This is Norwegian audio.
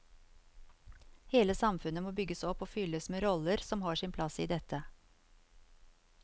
Hele samfunnet må bygges opp og fylles med roller som har sin plass i dette.